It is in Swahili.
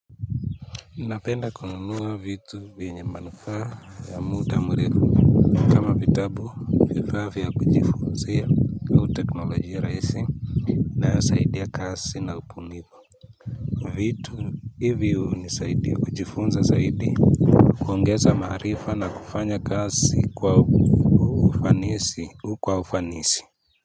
Napenda kununuwa vitu viyenye manufaa ya muda murefu kama vitabu vifaa vya kujifunizia au teknolojia rahisi inayosaidia kazi na ubunivu vitu hivi hunisaidi kujifunza zaidi kuongeza maarifa na kufanya kazi kwa ufanisi.